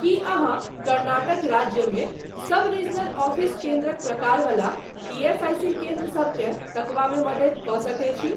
कीअहाँ कर्नाटक राज्यमे सब regional office केन्द्रक प्रकार वला ईएसआईसी केन्द्र सबकेँ तकबामे मदति कऽ सकैत छी?